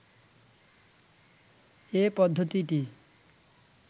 এ পদ্ধতিটি